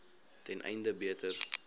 ten einde beter